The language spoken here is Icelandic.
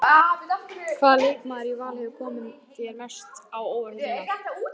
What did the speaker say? Hvaða leikmaður í Val hefur komið þér mest á óvart í sumar?